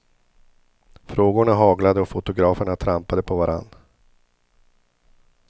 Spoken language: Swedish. Frågorna haglade och fotograferna trampade på varann.